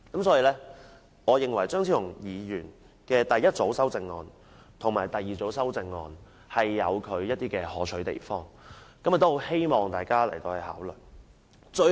所以我認為張超雄議員的第一組和第二組修正案均有其可取之處，希望大家考慮。